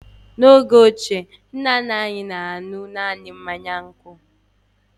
N'oge ochie, nna nna anyị na-aṅụ naanị nkwụ